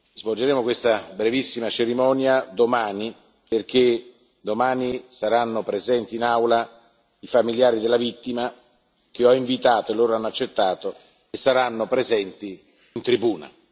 Svolgeremo questa brevissima cerimonia domani, perché domani saranno presenti in Aula i familiari della vittima, che ho invitato loro hanno accettato e saranno presenti in tribuna.